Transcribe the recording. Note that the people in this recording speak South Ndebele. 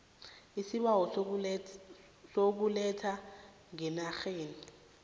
isibawo sokuletha ngeenarheni